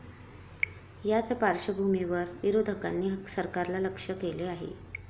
याच पार्श्वभूमीवर विरोधकांनी सरकारला लक्ष्य केलं आहे.